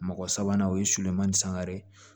Mɔgɔ sabanan o ye sulenma ni san wɛrɛ